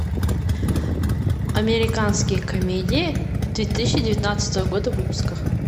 американские комедии две тысячи девятнадцатого года выпуска